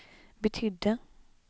betydde